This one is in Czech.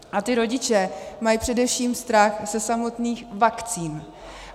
A ti rodiče mají především strach ze samotných vakcín.